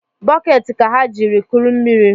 Bokeeti ka ha jiri kụrụ mmiri